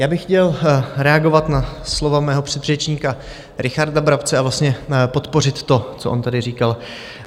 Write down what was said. Já bych chtěl reagovat na slova svého předřečníka Richarda Brabce a vlastně podpořit to, co on tady říkal.